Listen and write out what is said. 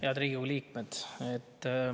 Head Riigikogu liikmed!